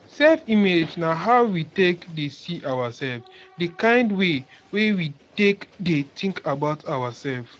self image na how we take dey see ourself di kind way wey we take dey think about ourself